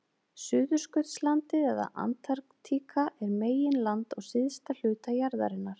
Suðurskautslandið eða Antarktíka er meginland á syðsta hluta jarðarinnar.